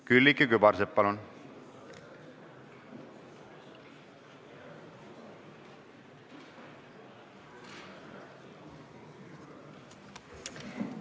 Külliki Kübarsepp, palun!